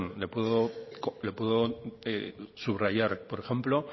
le puedo subrayar por ejemplo